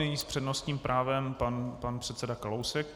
Nyní s přednostním právem pan předseda Kalousek.